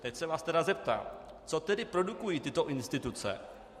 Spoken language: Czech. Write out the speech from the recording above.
Teď se vás tedy zeptám: Co tedy produkují tyto instituce?